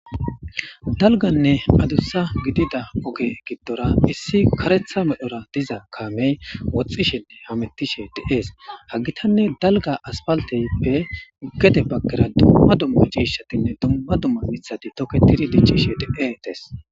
Dalgganne adussa giddida ogge giddora isi kareththa medhdhora dizza kame wodhdhishshenne hametishen de'es ha gittanne dalgga asipalitiyappe gedde bagara dumma dumma c'ishshatinne dumma dumma miththathi dic'ishshe de'etes.